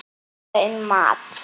Ekki hugsa um mat!